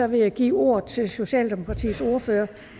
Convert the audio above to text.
vil jeg give ordet til socialdemokratiets ordfører